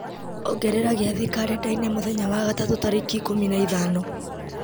ongerera gĩathĩ karenda-inĩ mweri wa gatatũ tarĩki ikũmi na ithano